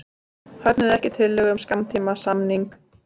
Höfnuðu ekki tillögu um skammtímasamning